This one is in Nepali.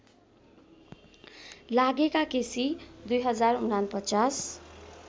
लागेका केसी २०४९